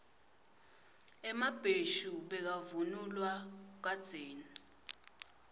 emabheshu bekavunulwa kadzeni